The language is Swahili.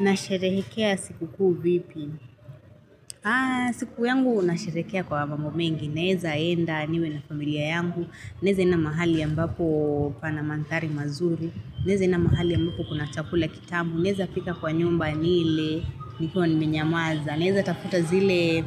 Nasheherekea sikukuu vipi. Siku yangu nasheherekea kwa mambo mengi. Naeza enda niwe na familia yangu. Naeza enda mahali ambapo panamandhari mazuri. Naeza enda mahali ambapo kuna chakula kitamu. Naeza pika kwa nyumba nile nikiwa nimenyamaza. Naeza tafuta zile